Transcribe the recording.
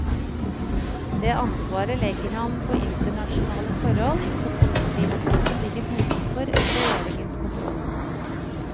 Det ansvaret legger han påinternasjonale forhold, som oljeprisen, som ligger utenfor regjeringens kontroll.